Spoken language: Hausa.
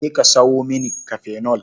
Je ka sawo mani kafenol.